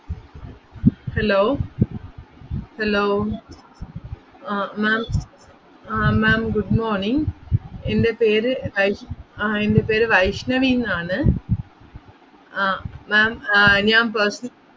Hello hello ah ma'am ah ma'am good morning എന്റെ പേര് വൈഷ്~ ആഹ് എൻ്റെ പേര് വൈഷ്ണവിന്നാണ് ആഹ് ma'am ആഹ് ഞാൻ pers~